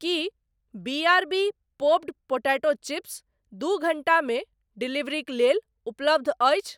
की B R B popped potato chips दू घण्टामे डिलीवरीक लेल उपलब्ध अछि ?